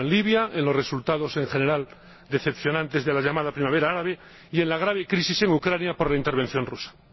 Pienso en Libia, en los resultados —en general, decepcionantes— de la llamada primavera árabe y en la grave crisis en Ucrania por la intervención rusa.